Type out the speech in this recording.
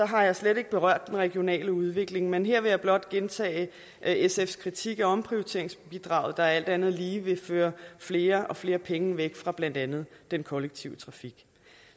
har jeg slet ikke berørt den regionale udvikling men her vil jeg blot gentage sfs kritik af omprioriteringsbidraget der alt andet lige vil føre flere og flere penge væk fra blandt andet den kollektive trafik